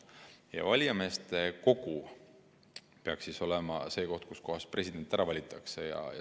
Ja valijameeste kogu peaks olema see koht, kus president ära valitakse.